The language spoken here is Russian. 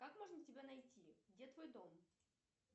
как можно тебя найти где твой дом